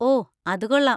ഓ, അത് കൊള്ളാം!